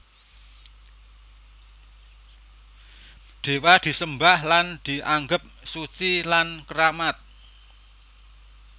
Dewa disembah lan dianggep suci lan keramat